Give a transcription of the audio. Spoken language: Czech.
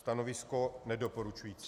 Stanovisko nedoporučující.